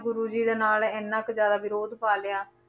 ਗੁਰੂ ਜੀ ਦੇ ਨਾਲ ਇੰਨਾ ਕੁ ਜ਼ਿਆਦਾ ਵਿਰੋਧ ਪਾ ਲਿਆ,